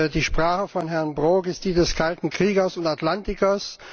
Die Sprache von Herrn Brok ist die des Kalten Kriegers und Atlantikers.